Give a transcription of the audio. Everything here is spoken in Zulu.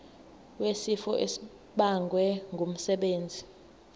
wesifo esibagwe ngumsebenzi